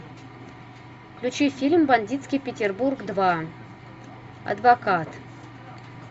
включи фильм бандитский петербург два адвокат